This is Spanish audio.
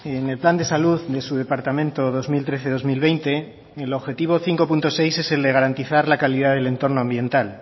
en el plan de salud de su departamento dos mil trece dos mil veinte el objetivo cinco punto seis es el de garantizar la calidad del entorno ambiental